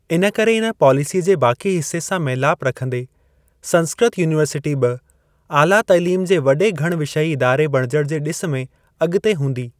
इनकरे इन पॉलिसीअ जे बाकी हिसे सां मेलाप रखंदे, संस्कृत यूनीवर्सिटी बि आला तालीम जे वॾे घण विषयी इदारे बणिजण जे ॾिस में अॻिते हूंदी।